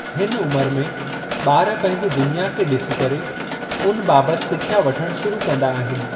हिन उमिरि में ॿार पंहिंजी दुनिया खे ॾिसी करे उन बाबति सिख्या वठण शुरू कंदा आहिनि।